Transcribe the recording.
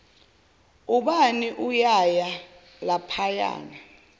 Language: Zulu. ubani uyaya laphayana